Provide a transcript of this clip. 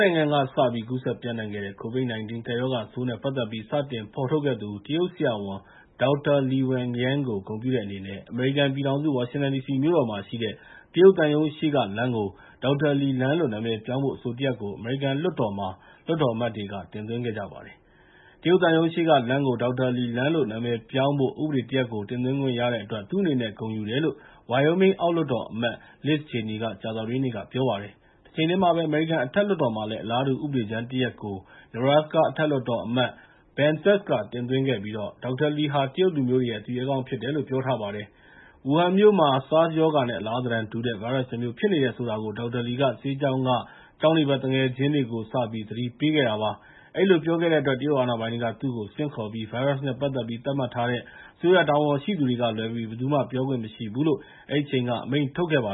နိုင်ငံကနေစပြီး ကူးစက်ပျံ့နှံ့ခဲ့တဲ့ COVID-19 ကပ်ရောဂါဆိုးနဲ့ ပတ်သက်ပြီး စတင်ဖော်ထုတ်ခဲ့သူ တရုတ်ဆရာဝန် Dr. Li Wenliang ကို ဂုဏ်ပြုတဲ့အနေနဲ့ အမေရိကန်ပြည်ထောင်စု ဝါရှင်တန်ဒီစီမြို့တော်မှာရှိတဲ့ တရုတ်သံရုံးရှေ့က လမ်းကို Dr. Li လမ်းလို့ နာမည်ပြောင်းဖို့ အဆိုတရပ်ကို အမေရိကန် အောက်လွှတ်တော်မှာ လွှတ်တော်အမတ်တွေက တင်သွင်းလိုက်ပါတယ်။ တရုတ်သံရုံးရှေ့ကလမ်းကို Dr. Li လမ်းလို့ နာမည်ပြောင်းဖို့ ဥပဒေကြမ်းတရပ်ကို တင်သွင်းခွင့်ရတဲ့အတွက် သူ့အနေနဲ့ ဂုဏ်ယူတယ်လို့ Wyoming အောက်လွှတ်တော်အမတ် Liz Cheney က ကြာသပတေးနေ့က ပြောပါတယ်။ တချိန်တည်းမှာပဲ အမေရိကန် အထက်လွှတ်တော်မှာလည်း အလားတူ ဥပဒေကြမ်းတရပ်ကို Nebraska အထက်လွှတ်တော်အမတ် Ben Sasse က တင်သွင်းခဲ့ပြီး Dr. Li ဟာ တရုတ်လူမျိုးတွေရဲ့ သူရဲကောင်းဖြစ်တယ်လို့ ပြောပါတယ်။ ဝူဟန်မြို့မှာ SARS ရောဂါနဲ့ အလားသဏ္ဌာန်တူတဲ့ ဗိုင်းရပ်စ်တမျိုး ဖြစ်နေတယ်ဆိုတာကို Dr. Li က ဆေးကျောင်းက ကျောင်းနေဘက် သူငယ်ချင်းတွေကို စပြီး သတိပေးခဲ့တာပါ။ အဲဒီလိုပြောခဲ့တဲ့အတွက် တရုတ်အာဏာပိုင်တွေက သူ့ကိုဆင့်ခေါ်ပြီး ဗိုင်းရပ်စ်နဲ့ ပတ်သက်ပြီး သတ်မှတ်ထားတဲ့ အစိုးရတာဝန်ရှိသူကလွဲပြီး ဘယ်သူမှ ပြောခွင့်မရှိဘူးလို့ အဲဒီအချိန်က အမိန့်ထုတ်ခဲ့တာပါ